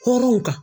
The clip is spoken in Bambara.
Hɔrɔnw kan